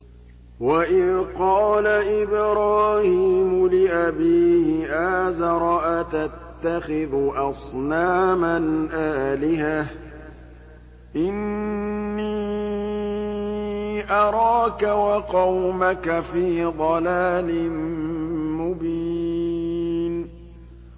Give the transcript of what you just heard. ۞ وَإِذْ قَالَ إِبْرَاهِيمُ لِأَبِيهِ آزَرَ أَتَتَّخِذُ أَصْنَامًا آلِهَةً ۖ إِنِّي أَرَاكَ وَقَوْمَكَ فِي ضَلَالٍ مُّبِينٍ